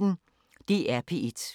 DR P1